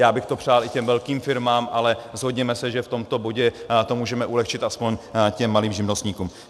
Já bych to přál i těm velkým firmám, ale shodněme se, že v tomto bodě to můžeme ulehčit aspoň těm malým živnostníkům.